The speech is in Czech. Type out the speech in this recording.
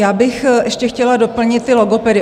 Já bych ještě chtěla doplnit ty logopedy.